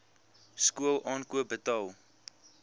skool aankoop betaal